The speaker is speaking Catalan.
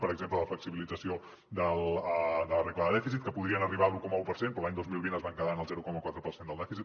per exemple la flexibilització de la regla de dèficit que podrien arribar a l’un coma un per cent però l’any dos mil vint es van quedar en el zero coma quatre per cent del dèficit